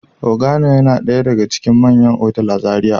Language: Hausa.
Organo yana daya daga cikin manyan otal a Zaria.